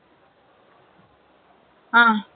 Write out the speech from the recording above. ம்ம்